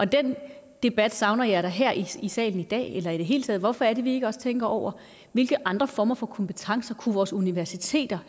den debat savner jeg da her i salen i dag eller i det hele taget hvorfor er det vi ikke også tænker over hvilke andre former for kompetencer vores universiteter